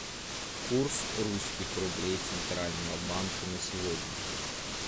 курс русских рублей центрального банка на сегодня